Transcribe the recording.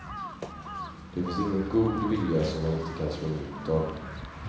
Det finns ingen god vilja som man inte kan slå mynt av.